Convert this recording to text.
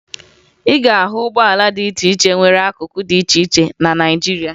Ị ga-ahụ ụgbọala dị iche iche nwere akụkụ dị iche iche na Naịjirịa